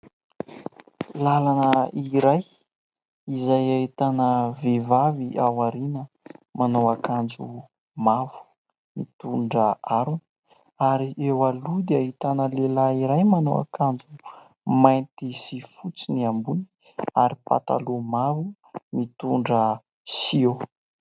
Làlana iray izay ahitana vehivavy ao aoriana, manao akanjo mavo, mitondra harona ; ary eo aloha dia ahitana lehilahy iray, manao akanjo mainty sy fotsy ny ambony ary pataloha mavo , mitondra siô.